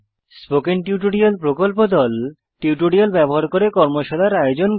spoken tutorial প্রকল্প দল tutorial ব্যবহার করে কর্মশালার আয়োজন করে